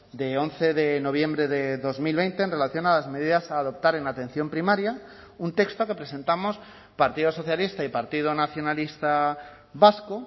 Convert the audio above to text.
de once de noviembre de dos mil veinte en relación a las medidas a adoptar en atención primaria un texto que presentamos partido socialista y partido nacionalista vasco